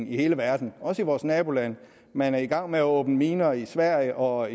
i hele verden også i vores nabolande man er i gang med at åbne miner i sverige og